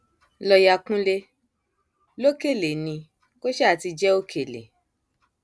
lọọyà kúnjẹ lọkẹlẹ ni kò sáà ti jẹ òkèlè